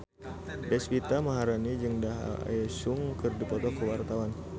Deswita Maharani jeung Daesung keur dipoto ku wartawan